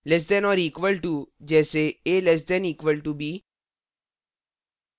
less than or equal to से कम या बराबर : जैसेa <= b